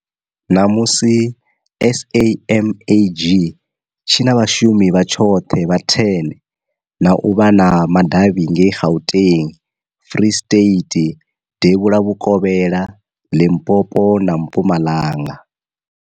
Ṋamusi, SAMAG tshi na vhashumi vha tshoṱhe vha10 na u vha na madavhi ngei Gauteng, Free State, Devhula Vhukovhela, Limpopo na Mpumalanga.